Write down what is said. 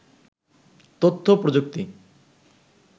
তথ্যপ্রযুক্তি